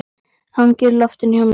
Hangir í loftinu hjá mér.